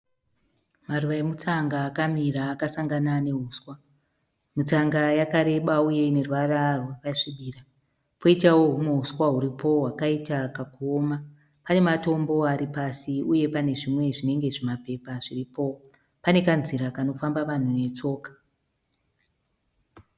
Maruva emutsanga akamira akasangana nehuswa . Mitsanga yakareba uye ine ruvara rwakasvibira. Poitawo húmwe huswa huripo hwakaita kakuona. Pane matombo aripasi uye pane zvimwe zvinenge zvimapepa zviripo. Pane kanzira kanofamba vanhu netsoka.